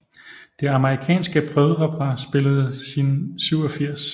Det amerikanske brødrepar spillede sin 87